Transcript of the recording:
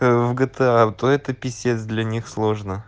в гта то это писец для них сложно